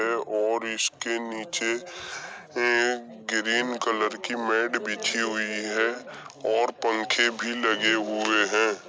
है और इसके नीचे ग्रीन कलर की मैट बिछी हुई है और पंखे भी लगे हुए हैं।